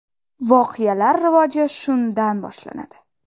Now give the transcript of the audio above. Voqealar rivoji shundan boshlanadi.